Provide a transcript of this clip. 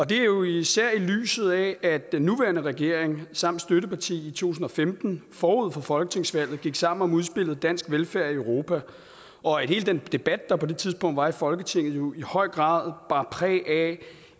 det er jo især i lyset af at den nuværende regering samt støtteparti i to tusind og femten forud for folketingsvalget gik sammen om udspillet dansk velfærd i europa og at hele den debat der på det tidspunkt var i folketinget jo i høj grad bar præg af